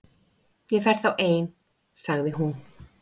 Ég fer þá ein- sagði hún.